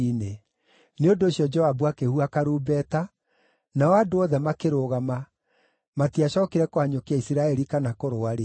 Nĩ ũndũ ũcio Joabu akĩhuha karumbeta, nao andũ othe makĩrũgama; matiacookire kũhanyũkia Isiraeli kana kũrũa rĩngĩ.